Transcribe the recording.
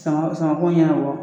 Samara samara ko ɲɛnabɔ.